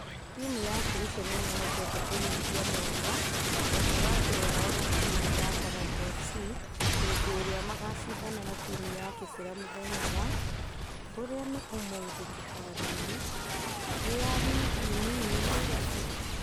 Timũ ya kericho nĩmèhokete kũnyihia mwanya gatagati wao na timũ ya talanta fc hĩndĩ ĩrĩa magashidana na timũ ya kibra mũthenya wa ....ũria ni ũmũthi kĩharo-inĩ gia ligi ndogo nairofĩ.